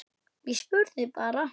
Ég spurði bara.